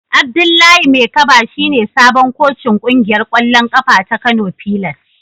Abdullahi Maikaba shine sabon kocin kungiyar kwallon kafa ta Kano fillars.